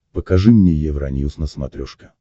покажи мне евроньюс на смотрешке